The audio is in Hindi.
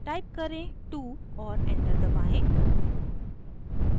टाइप करे 2 और एंटर दबाएं